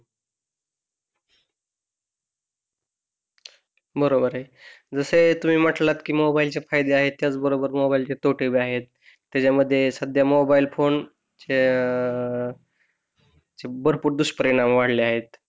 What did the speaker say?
बरोबर आहे. जस तुम्ही म्हंटले कि मोबाइल चे फायदे आहेत बरोबर मोबाइल चे तोटे पण आहेत त्याच्या मध्ये सध्या मोबाइल फोन चे अं त्याचे भरपूर दुष्परिणाम वाढले आहेत.